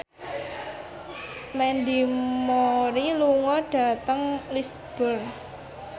Mandy Moore lunga dhateng Lisburn